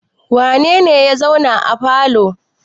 Wane ne ya zauna a falo?